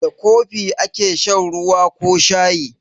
Da kofi ake shan ruwa ko shayi.